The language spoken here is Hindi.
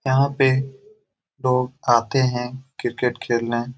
यहाँ पे लोग आते है क्रिकेट खेलने ।